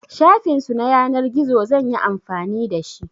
Shafin su na yanar gizo zan yi amfani da shi.